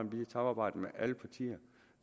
vi kan samarbejde med alle partier